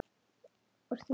Og stundum líka glöð.